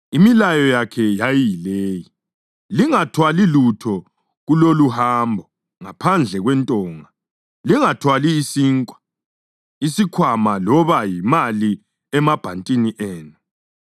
Imilayo yakhe yayiyile: “Lingathwali lutho kuloluhambo ngaphandle kwentonga, lingathwali isinkwa, isikhwama loba yimali emabhantini enu.